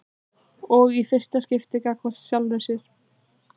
Og í fyrsta skipti gagnvart sjálfri sér.